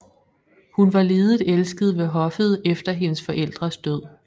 Hun var lidet elsket ved hoffet efter hendes forældres død